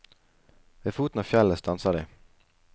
Ved foten av fjellet stanser de.